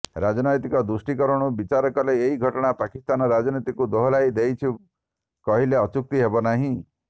ରାଜନୈତିକ ଦୃଷ୍ଟିକୋଣରୁ ବିଚାର କଲେ ଏହି ଘଟଣା ପାକିସ୍ତାନ ରାଜନୀତିକୁ ଦୋହଲାଇ ଦେଇଛି କହିଲେ ଅତ୍ୟୁକ୍ତି ହେବ ନାହିଁ